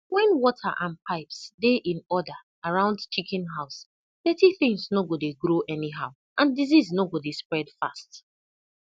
when water and pipes dey in order around chicken house dirty things no go dey grow anyhow and disease no go dey spread fast